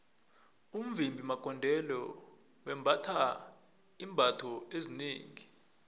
umvimbi magondelo wembatha iimbatho ezinengi